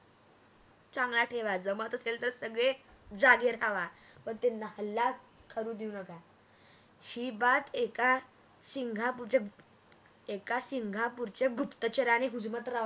चांगला ठेवा जमत असेल तर सगळे जागे रावा व त्यांना हल्ला करू देऊ नका ही बात एका सिंगपूरच्या एका सिंगपूरच्या गुप्तचार्याने हूजमत रावाला